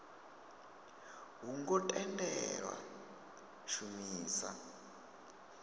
ho ngo tendelwa u shumisa